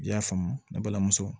I y'a faamu ne balimamuso